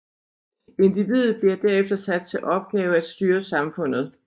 Individet bliver derefter sat til opgave at styre samfundet